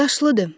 Yaşlıdır.